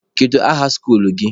Kedu aha skuluu gị?